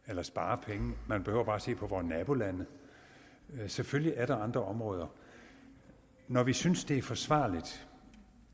eller spare penge man behøver bare se på vore nabolande selvfølgelig er der andre områder når vi synes det er forsvarligt